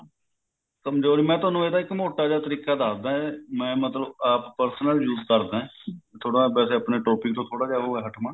ਕਮਜੋਰੀ ਕਰਕੇ ਮੈਂ ਤੁਹਾਨੂੰ ਇੱਕ ਮੋਟਾ ਜਾ ਤਰੀਕਾ ਦਸਦਾ ਮੈਂ ਮਤਲਬ ਆਪ personal use ਕਰਦਾ ਥੋੜਾ ਜਾ ਵੈਸੇ ਆਪਣੇ topic ਤੋਂ ਉਹ ਹੈ ਥੋੜਾ ਹਟਵਾਂ